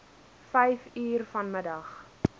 vyf uur vanmiddag